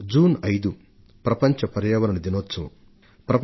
June 5న ప్రపంచ పర్యావరణ దినోత్సవం జరుపుకొంటాం